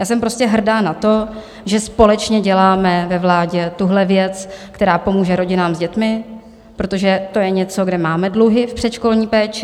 Já jsem prostě hrdá na to, že společně děláme ve vládě tuhle věc, která pomůže rodinám s dětmi, protože to je něco, kde máme dluhy v předškolní péči.